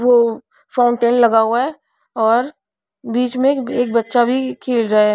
वो फाउंटेन लगा हुआ है और बीच में एक बच्चा भी खेल रहा है.